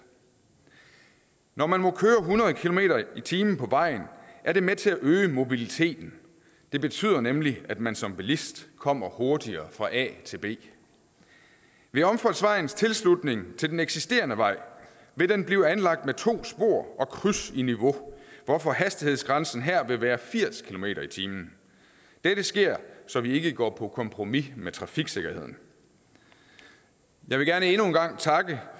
når man må køre hundrede kilometer per time på vejen er det med til at øge mobiliteten det betyder nemlig at man som bilist kommer hurtigere fra a til b ved omfartsvejens tilslutning til den eksisterende vej vil den blive anlagt med to spor og kryds i niveau hvorfor hastighedsgrænsen her vil være firs kilometer per time dette sker så vi ikke går på kompromis med trafiksikkerheden jeg vil gerne endnu en gang takke